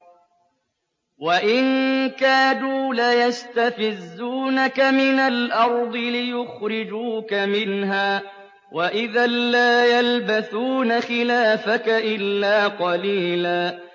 وَإِن كَادُوا لَيَسْتَفِزُّونَكَ مِنَ الْأَرْضِ لِيُخْرِجُوكَ مِنْهَا ۖ وَإِذًا لَّا يَلْبَثُونَ خِلَافَكَ إِلَّا قَلِيلًا